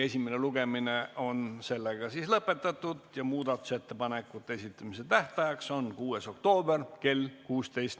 Esimene lugemine on lõpetatud ja muudatusettepanekute esitamise tähtaeg on 6. oktoober kell 16.